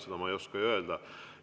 Seda ma ei oska öelda.